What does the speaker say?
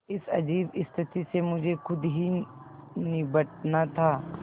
इस अजीब स्थिति से मुझे खुद ही निबटना था